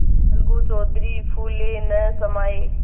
अलगू चौधरी फूले न समाये